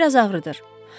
Bir az ağrıdır.